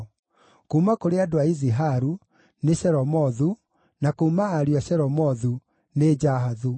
Kuuma kũrĩ andũ a Iziharu: nĩ Shelomothu; na kuuma ariũ a Shelomothu: nĩ Jahathu.